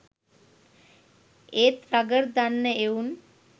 ඒත් රගර් දන්න එවුන්